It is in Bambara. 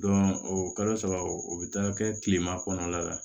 o kalo saba o bɛ taa kɛ kilema kɔnɔna la